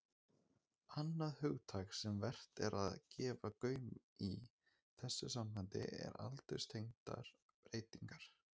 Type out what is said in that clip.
Annað hugtak sem vert er að gefa gaum í þessu sambandi er aldurstengdar breytingar.